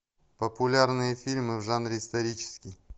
популярные фильмы в жанре исторический